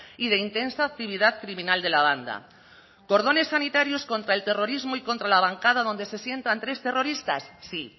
y de intensa actividad criminal de la banda cordones sanitarios contra el terrorismo y contra la bancada donde se sientan tres terroristas sí